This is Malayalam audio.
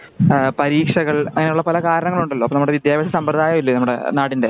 നമ്മുടെ ആ പരീക്ഷകള് അങ്ങനെ പല കാരണങ്ങൾ ഉണ്ടല്ലോ? ഇപ്പൊ നമ്മുടെ വിത്യാഭ്യാസ സമ്പ്രദായ മില്ലേ നമ്മുടെ നാടിൻറെ